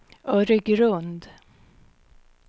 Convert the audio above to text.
Öregrund